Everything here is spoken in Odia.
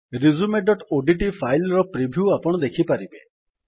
resumeଓଡିଟି fileର ପ୍ରିଭ୍ୟୁକୁ ଆପଣ ଦେଖିପାରିବେ